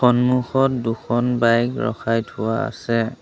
সন্মুখত দুখন বাইক ৰখাই থোৱা আছে।